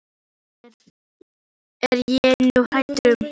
Já, það er ég nú hræddur um.